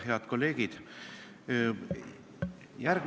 Head kolleegid!